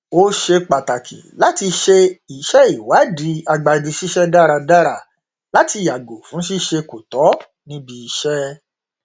ó ṣe pàtàkì láti ṣe iṣẹ ìwádìí agbanisíṣẹ dáradára láti yàgò fún ṣíṣe kò tọ níbi iṣẹ